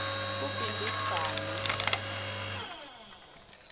kubimbidvwane